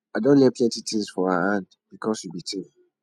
i don learn plenty tins for her hand because we be team